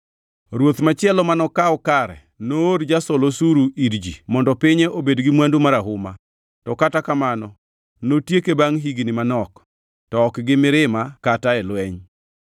“Ruoth machielo manokaw kare noor jasol osuru ir ji mondo pinye obed gi mwandu marahuma. To kata kamano, notieke, bangʼ higni manok, to ok gi mirima kata e lweny.